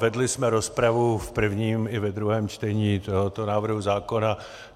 Vedli jsme rozpravu v prvním i ve druhém čtení tohoto návrhu zákona.